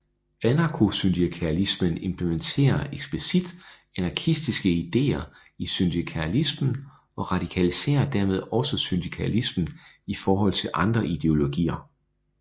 Anarkosyndikalismen implementerer eksplicit anarkistiske idéer i syndikalismen og radikaliserer dermed også syndikalismen i forhold til andre ideologier